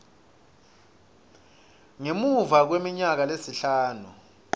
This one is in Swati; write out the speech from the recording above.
ngemuva kweminyaka lesihlanu